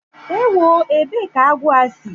Ewó! ébé kà agwọ a si!